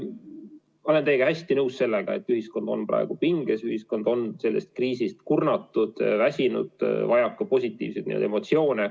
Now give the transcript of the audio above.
Olen teiega hästi nõus, et ühiskond on praegu pinges, ühiskond on sellest kriisist kurnatud, väsinud, vajab positiivseid emotsioone.